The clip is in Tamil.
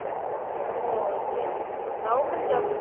ஓ சரி சரி சரி government jobs